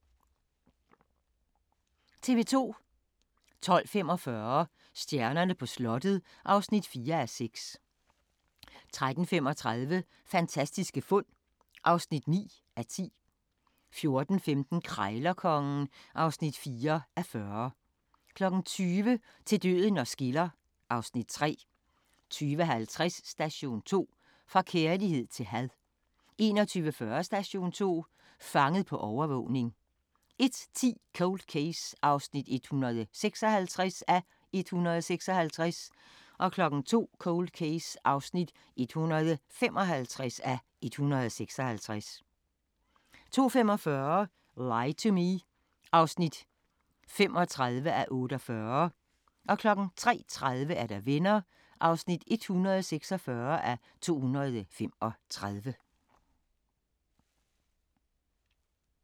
12:45: Stjernerne på slottet (4:6) 13:35: Fantastiske fund (9:10) 14:15: Krejlerkongen (4:40) 20:00: Til døden os skiller (Afs. 3) 20:50: Station 2: Fra kærlighed til had 21:40: Station 2: Fanget på overvågning 01:10: Cold Case (156:156) 02:00: Cold Case (155:156) 02:45: Lie to Me (35:48) 03:30: Venner (146:235)